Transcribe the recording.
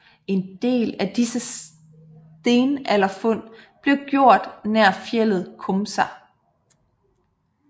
En del af disse stenalderfund blev gjort nær fjeldet Komsa